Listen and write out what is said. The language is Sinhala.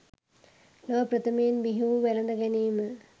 ලොව ප්‍රථමයෙන් බිහිවූ වැළඳ ගැනීම